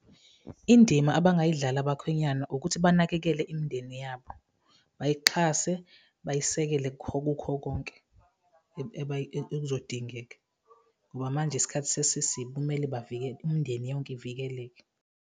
Indima abangayidlala abakhwenyana ukuthi banakekele imindeni yabo, bayixhase, bayisekele kukho konke ekuzodingeka ngoba manje isikhathi sesisibi, kumele imndeni yonke ivikeleke.